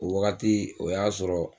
O wagati o y'a sɔrɔ